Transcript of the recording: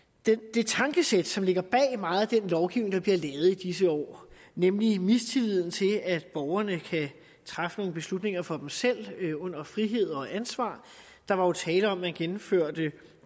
det tankesæt som ligger bag meget af den lovgivning der bliver lavet i disse år nemlig mistilliden til at borgerne kan træffe nogle beslutninger for dem selv under frihed og ansvar der var tale om at man gennemførte